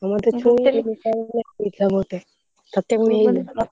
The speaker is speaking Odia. ଆଉ ମତେ ଛୁଇଲେ ମତେ ତତେ ବି ହେଇଯିବ।